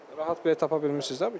Rahat bilet tapa bilmirsiz də bu gün?